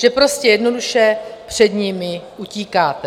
Že prostě jednoduše před nimi utíkáte.